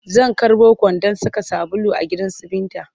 Zan karɓo kwandon saka sabulu a gidansu Binta